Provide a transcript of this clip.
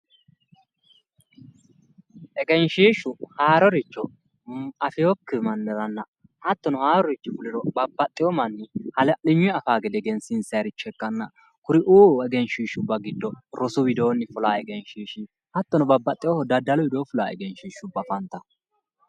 egenshshiishshu haaroricho afewookki manniranna hattono haarurichi fuliro babbaxewo manni hala'linyuyi afaa gede egensiinsayiiricho ikkanna kuriuu egenshshiishshubba widoonni fulaa egenshshiishshi hattono daddalu widoo fulaa egenshshiishshubba afantanno.